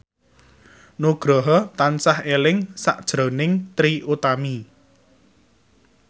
Nugroho tansah eling sakjroning Trie Utami